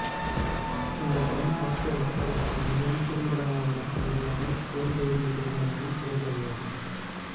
இந்தப் படம் பார்த்து ரசிப்பதற்கான வெறும் குறும்படமாக மட்டுமாக இல்லாமல் புலம்பெயர்ந்த குடும்பங்களில் தொடர்கதையாகும்